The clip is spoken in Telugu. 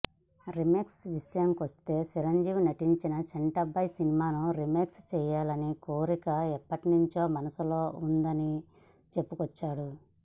రీమేక్స్ విషయానికొస్తే చిరంజీవి నటించిన చంటబ్బాయ్ సినిమాను రీమేక్ చేయాలనే కోరిక ఎప్పట్నుంచో మనసులో ఉందని చెప్పుకొచ్చాడు